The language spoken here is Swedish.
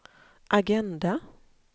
agenda